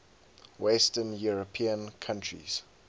western european countries